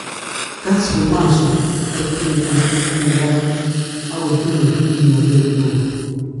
Casru marzu kotinye aruput ne karan ak kotinye kimatet ne o